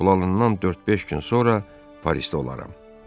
Pulanandan dörd-beş gün sonra Parisdə olaram.